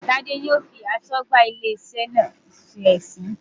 Tade yóò fi aṣọ́gbà ilé iṣẹ́ náà ṣe ẹ̀sín.